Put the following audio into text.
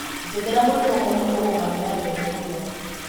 njerethera mũrimũ ũmwe ũngũmagĩra bembe mũno